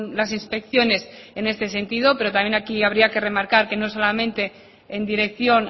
las inspecciones en este sentido pero también aquí habría que remarcar que no solamente en dirección